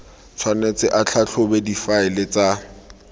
tshwanetse a tlhatlhobe difaele tsa